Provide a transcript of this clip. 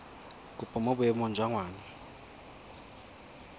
kopo mo boemong jwa ngwana